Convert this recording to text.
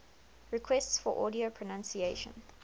requests for audio pronunciation